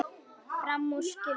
Fram úr skyldi hann.